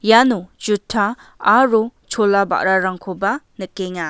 iano juta aro chola ba·rarangkoba nikenga.